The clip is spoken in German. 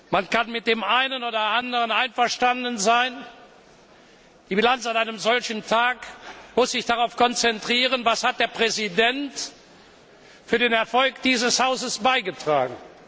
Man kann mit dem einen oder anderen einverstanden sein oder nicht. Die Bilanz an einem solchen Tag muss sich darauf konzentrieren Was hat der Präsident für den Erfolg dieses Hauses beigetragen?